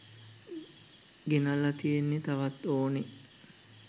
ගෙනල්ලා තියෙන්නේ තවත් ඕනේ